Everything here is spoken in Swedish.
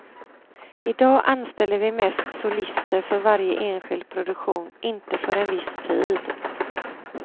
Idag anställer vi mest solister för varje enskild produktion, inte för en viss tid.